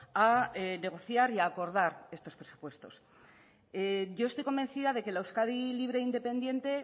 a negociar y acordar estos presupuestos yo estoy convencida de que la euskadi libre e independiente